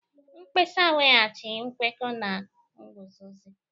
Mkpesa weghachi nkwekọ na nguzozi: